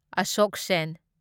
ꯑꯁꯣꯛ ꯁꯦꯟ